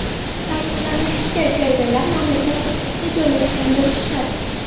Ta’kidlanishicha, serverlar mamlakat hududida joylashgan bo‘lishi shart.